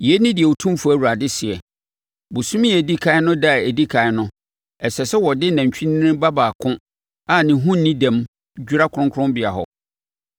“ ‘Yei ne deɛ Otumfoɔ Awurade seɛ: Ɔbosome a ɛdi ɛkan no ɛda a ɛdi ɛkan no, ɛsɛ sɛ wɔde nantwinini ba baako a ne ho nni dɛm dwira kronkronbea hɔ.